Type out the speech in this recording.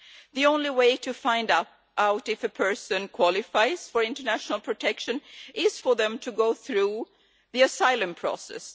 The only way to find out if a person qualifies for international protection is for them to go through the asylum process.